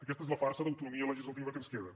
aquesta és la farsa d’autonomia legislativa que ens queda